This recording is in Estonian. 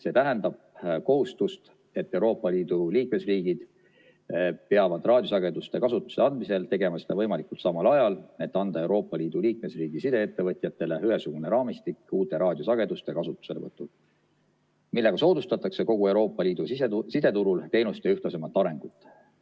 See tähendab kohustust, et Euroopa Liidu liikmesriigid peavad raadiosageduste kasutusse andmisel tegema seda võimalikult samal ajal, et anda Euroopa Liidu liikmesriigi sideettevõtjatele ühesugune raamistik uute raadiosageduste kasutuselevõtul, millega soodustatakse kogu Euroopa Liidu sideturul teenuste ühtlasemat arengut.